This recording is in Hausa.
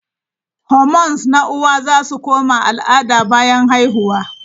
Hormones na uwa za su koma al'ada bayan haihuwa.